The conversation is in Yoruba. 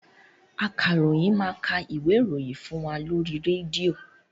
Akaròyìn máa ka ìwé ìròyìn fún wa lóri rédíò.